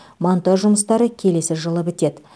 монтаж жұмыстары келесі жылы бітеді